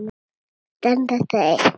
Þau standa eftir ein.